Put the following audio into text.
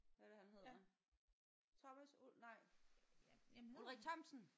Hvad er det han hedder. Thomas nej Ulrik Thomsen